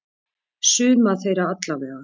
Suma þeirra allavega.